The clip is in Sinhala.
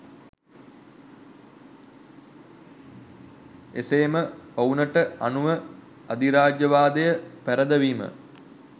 එසේම ඔවුනට අනුව අධිරාජ්‍යවාදය පැරදවීම